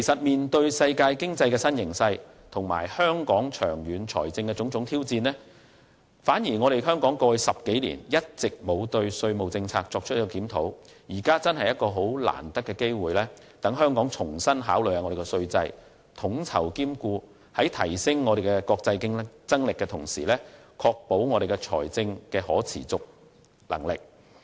面對世界經濟的新形勢和香港長遠財政的種種挑戰，香港在過去10多年反而一直未有檢討稅務政策，現時的確是很難得的機會，讓香港重新考慮稅制，統籌兼顧，在提升國際競爭力的同時，亦能確保財政可持續性。